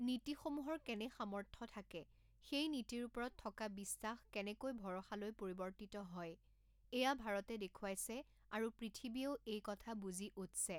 নীতিসমূহৰ কেনে সামৰ্থ্য থাকে, সেই নীতিৰ ওপৰত থকা বিশ্বাস কেনেকৈ ভৰসালৈ পৰিৱৰ্তিত হয়, এয়া ভাৰতে দেখুৱাইছে আৰু পৃথিৱীয়েও এই কথা বুজি উঠছে।